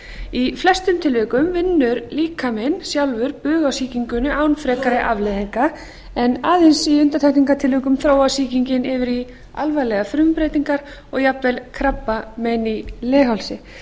í flestum tilvikum vinnur líkaminn sjálfur bug á sýkingunni án frekari afleiðinga en aðeins í undantekningartilvikum þróast sýkingin yfir í alvarlegar frumubreytingar og jafnvel krabbamein í leghálsi